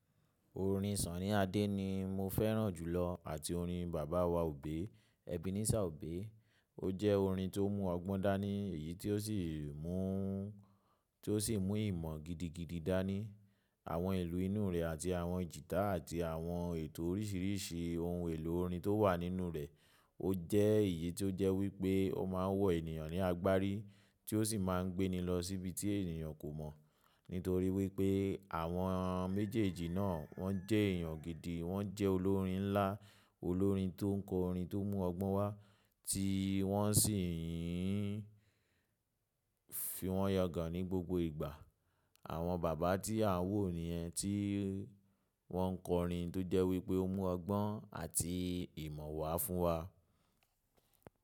Orin Sunny Adé ni mo fẹ́ràn jùlọ àti orin Baba wa Obe, Ebenezer Obe. Ó jẹ́ orin tó mú ọgbọ́n dání, èyí tó sì mú, tó sì mú ìmọ̀ gidigidi dání. Àwọn ìlù inú rẹ̀ àti àwọn jìtà àti àwọn ètò oríṣìíríṣìí ohun èlò orin tó wà nínú rẹ̀, ó jẹ́ èyí tó jẹ́ wípé ó ma ń wọ ènìyàn ní agbárí tí ó sì má ń gbé ni lọ síbi tí ènìyàn kò mọ̀. Nítorí wípé àwọn méjèèjì náà wọ́n jẹ́ èèyàn gidi, wọ́n jẹ́ olórin ńlá, olórin tó ń kọ orin tó mú ọgbọ́n wá tí wọ́n sì ń fi wọ́n yọ gà ní gbogbo ìgbà. Àwọn bàbá tí à ń wò ni yẹ́n tí wọ́n ń kọ orin tó jẹ́ wípé ó mú ọgbọ́n àti ìmọ̀ wá fún wa.